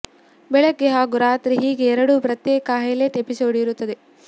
ಬೆಳಗ್ಗೆ ಹಾಗೂ ರಾತ್ರಿ ಹೀಗೆ ಎರಡು ಪ್ರತ್ಯೇಕ ಹೈಲೈಟ್ ಎಪಿಸೋಡ್ ಇರುತ್ತದೆ